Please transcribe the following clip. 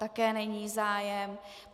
Také není zájem.